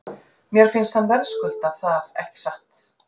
Mér finnst hann verðskulda það ekki satt?